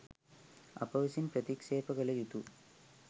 අප විසින් ප්‍රතික්ෂේප කළ යුතු